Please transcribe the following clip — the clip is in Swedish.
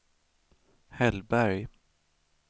Hellberg